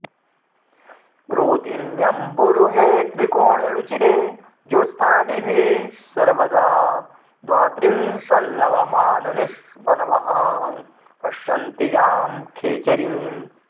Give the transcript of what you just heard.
रोधिन्यम्बुरुहे त्रिकोणरुचिरे ज्योत्स्नानिभे सर्वदा द्वात्रिंशल्लवमाननिस्वनवहां पश्यन्ति यां खेचरीम्